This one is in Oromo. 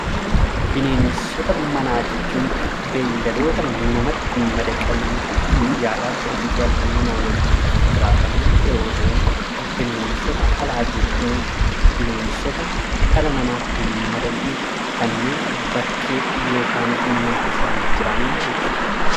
Bineensota manaa jechuun beeyladoota namatti madaqanii guyyaadhaa gara guyyaatti nama wajjin kan jiraatan yeroo ta'u, bineensota alaa jechuun bineensota dhala namaatti hin madaqne kanneen bakkee (mana keessa hin jiraanne) jechuu dha.